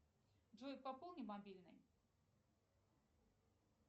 джой пополни мобильный